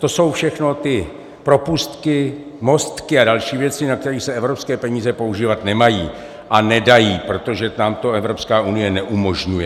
To jsou všechno ty propustky, mostky a další věci, na které se evropské peníze používat nemají a nedají, protože tam to Evropská unie neumožňuje.